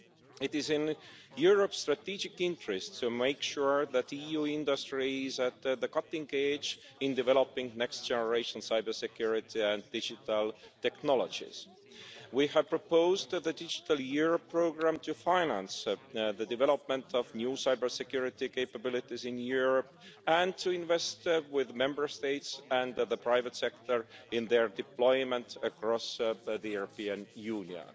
It is in Europe's strategic interests to make sure that EU industries are at the cutting edge in developing next generation cybersecurity and digital technologies. We have proposed the digital year programme to finance the development of new cybersecurity capabilities in Europe, and to invest with the Member States and the private sector in their deployment across the European Union.